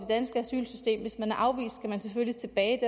danske asylsystem hvis man er afvist skal man selvfølgelig tilbage